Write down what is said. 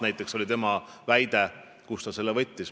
Ma ei oska täpselt öelda, kust ta selle võttis.